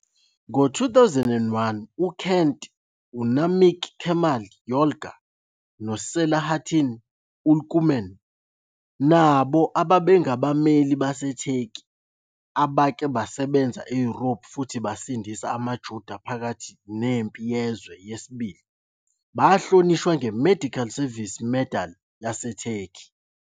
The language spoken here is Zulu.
Ngo-2001, uKent, uNamık Kemal Yolga noSelahattin Ülkümen, nabo ababengabameli baseTurkey abake basebenza eYurophu futhi basindisa amaJuda phakathi neMpi Yezwe II, bahlonishwa ngeMedical Service Medal yaseTurkey.